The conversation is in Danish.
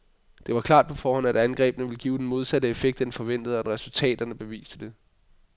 Det var klart på forhånd, at angrebene ville give den modsatte effekt end forventet, og resultatet beviste det.